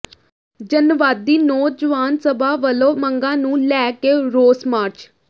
ਜਨਵਾਦੀ ਨੌਜਵਾਨ ਸਭਾ ਵਲੋਂ ਮੰਗਾਂ ਨੂੰ ਲੈ ਕੇ ਰੋਸ ਮਾਰਚ